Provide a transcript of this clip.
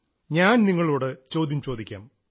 ഞാൻ നിങ്ങളോട് ചോദ്യം ചോദിക്കാം